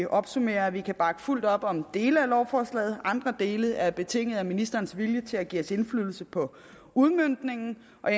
opsummere at vi kan bakke fuldt ud op om dele af lovforslaget andre dele er betinget af ministerens vilje til at give os indflydelse på udmøntningen og